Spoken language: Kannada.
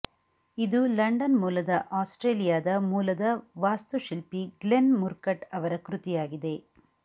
ಇದು ಲಂಡನ್ ಮೂಲದ ಆಸ್ಟ್ರೇಲಿಯಾದ ಮೂಲದ ವಾಸ್ತುಶಿಲ್ಪಿ ಗ್ಲೆನ್ ಮುರ್ಕಟ್ ಅವರ ಕೃತಿಯಾಗಿದೆ